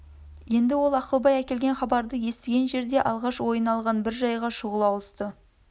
енді ол ақылбай әкелген хабарды естіген жерде алғаш ойына алған бір жайға шұғыл ауысты